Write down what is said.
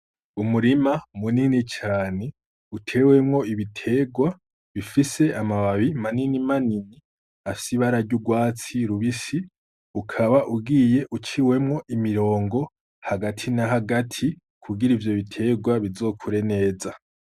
Umurima munini cane utewemwo ibiterwa bifise amababi manini manini afise ibara ry’urwatsi rubisi, ukaba ugiye uciwemwo imirongo hagati na hagati kugira ivyo biterwa bizokure neza.